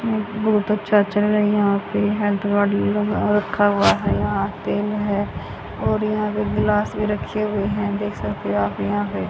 बहुत अच्छा चल रही है यहां पे हेल्थ गाड़ी लगा रखा हुआ है या तेल है और यहां पे गिलास भी रखे हुए हैं देख सकते हैं।